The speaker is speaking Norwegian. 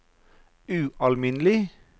ualminnelig